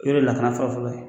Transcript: U ye lakana fɔlɔ-fɔlɔ ye